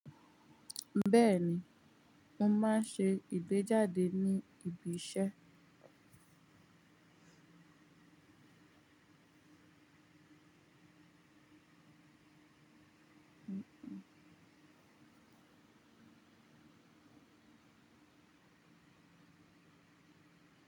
Beeni, mo maa n se igbejade ni ibise.